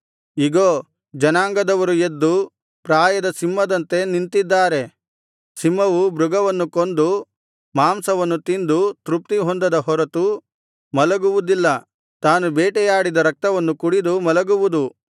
ಇಗೋ ಜನಾಂಗದವರು ಎದ್ದು ಪ್ರಾಯದ ಸಿಂಹದಂತೆ ನಿಂತಿದ್ದಾರೆ ಸಿಂಹವು ಮೃಗವನ್ನು ಕೊಂದು ಮಾಂಸವನ್ನು ತಿಂದು ತೃಪ್ತಿಹೊಂದದ ಹೊರತು ಮಲಗುವುದಿಲ್ಲ ತಾನು ಬೇಟೆಯಾಡಿದ ರಕ್ತವನ್ನು ಕುಡಿದು ಮಲಗುವುದು